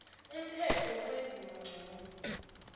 umthetho wokwenziwa ngcono